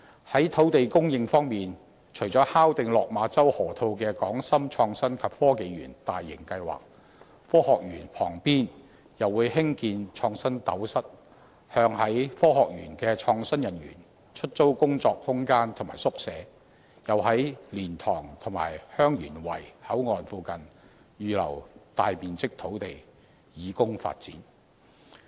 在土地供應方面，除了敲定落馬洲河套的"港深創新及科技園"大型計劃，科學園旁邊又會興建"創新斗室"，向在科學園工作的創新人員出租工作空間和宿舍，又在蓮塘和香園圍口岸附近預留大面積土地以供發展。